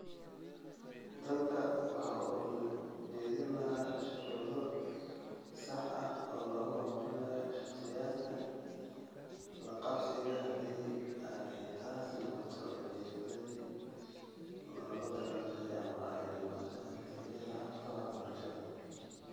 Dalku waxa uu dejin lahaa shuruudo sax ah oo lagu horumarinayo shakhsiyaadka la qabsiga la qabsiga haddii ay taasi noqoto ujeeddadii loogu talagalay ama ay dhammaato natiijada habka waxbarashada